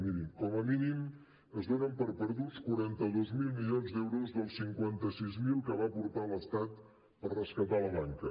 mirin com a mínim es donen per perduts quaranta dos mil milions d’euros dels cinquanta sis mil que va aportar l’estat per rescatar la banca